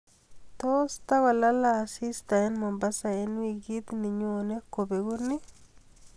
tos tot kolala asista en mombasa en wigit ninyone kobegu ii